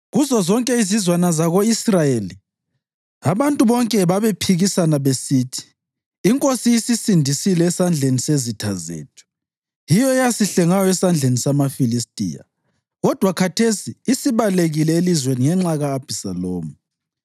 Kuzozonke izizwana zako-Israyeli, abantu bonke babephikisana besithi, “Inkosi isisindisile esandleni sezitha zethu; yiyo eyasihlengayo esandleni samaFilistiya. Kodwa khathesi isibalekile elizweni ngenxa ka-Abhisalomu;